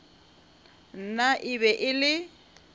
nna e be e le